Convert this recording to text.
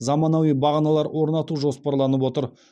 заманауи бағаналар орнату жоспарланып отыр